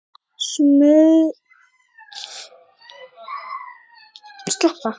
Smugan getur átt við